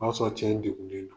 O y'a sɔrɔ cɛ in degunnen la.